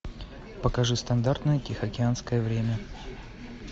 покажи стандартное тихоокеанское время